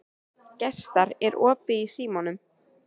Gestar, er opið í Símanum?